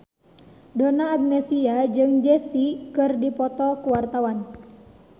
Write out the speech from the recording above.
Donna Agnesia jeung Jay Z keur dipoto ku wartawan